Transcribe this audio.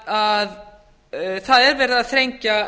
að það er verið að þrengja